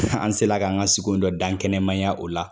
An se la k'an ka sugu dɔ dankɛnɛmaya o la.